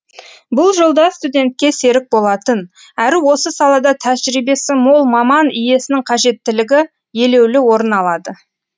бұл жолда студентке серік болатын әрі осы салада тәжірибесі мол маман иесінің қажеттілігі елеулі орын алады